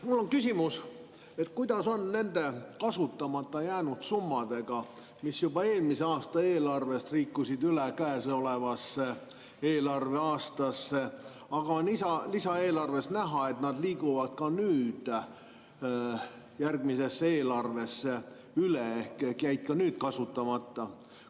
Mul on küsimus, et kuidas on nende kasutamata jäänud summadega, mis juba eelmise aasta eelarvest liikusid üle käesolevasse eelarveaastasse, aga lisaeelarvest on näha, et nad liiguvad ka nüüd järgmisesse eelarvesse üle ehk jäid ka nüüd kasutamata.